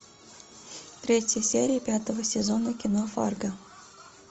третья серия пятого сезона кино фарго